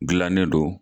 Gilannen don